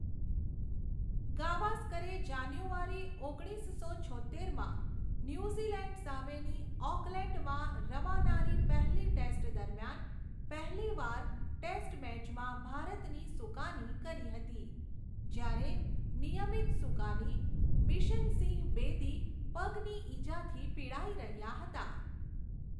ગાવસ્કરે January ઓગણીસસો છોત્તેરમાં New Zealand સામેની ઑકલેન્ડમાં રમાનારી પહેલી ટેસ્ટ દરમિયાન પહેલીવાર ટેસ્ટ મૅચમાં ભારતની સુકાની કરી હતી, જ્યારે નિયમિત સુકાની બિશન સિંહ બેદી પગની ઇજાથી પીડાઈ રહ્યા હતા.